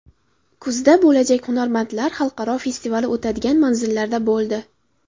Kuzda bo‘lajak Hunarmandlar xalqaro festivali o‘tadigan manzillarda bo‘ldi.